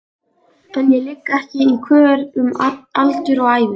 En ég ligg ekki í kör um aldur og ævi.